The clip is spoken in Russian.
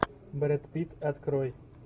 брэд питт открой